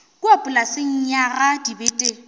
kua polaseng ya ga dibete